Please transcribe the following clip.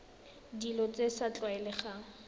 dilo tse di sa tlwaelegang